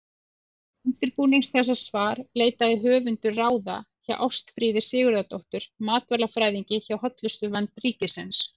Til undirbúnings þessa svars leitaði höfundur ráða hjá Ástfríði Sigurðardóttur matvælafræðingi hjá Hollustuvernd ríkisins.